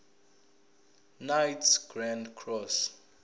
knights grand cross